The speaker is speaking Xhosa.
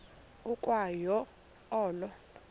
ukwa yo olo